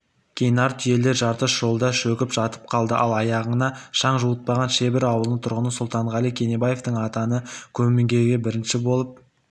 кей нар түйелер жарты жолда шөгіп жатып қалды ал аяғына шаң жуытпаған шебір ауылының тұрғыны сұлтанғали кенебаевтың атаны көмбеге бірінші болып